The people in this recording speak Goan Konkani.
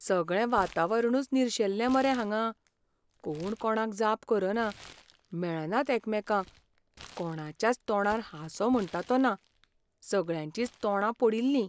सगळें वातावरणूच निर्शेल्लें मरे हांगां. कोण कोणाक जाप करना, मेळनात एकामेकांक, कोणाच्याच तोंडार हांसो म्हुण्टा तो ना, सगळ्यांचींच तोंडां पडिल्लीं.